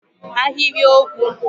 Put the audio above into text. Sentence